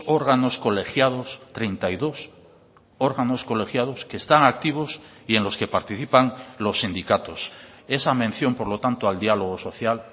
órganos colegiados treinta y dos órganos colegiados que están activos y en los que participan los sindicatos esa mención por lo tanto al diálogo social